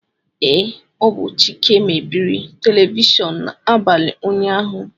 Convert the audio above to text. Ee, ọ bụ Chike mebiri telivishọn n'abalị ụnyaahụ